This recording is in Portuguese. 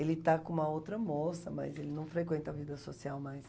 Ele está com uma outra moça, mas ele não frequenta a vida social mais.